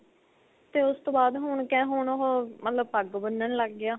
ਤੇ ਉਸ ਤੋ ਬਾਅਦ ਹੁਣ ਕਿਹ ਹੁਣ ਉਹ ਮਤਲਬ ਪੱਗ ਬੰਨਣ ਲੱਗ ਗਿਆ.